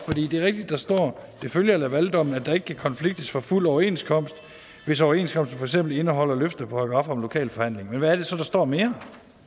det er rigtigt at der står at det følger af lavaldommen at der ikke kan konfliktes for fuld overenskomst hvis overenskomsten for eksempel indeholder løfteparagraf om lokal forhandling men hvad er det så der står mere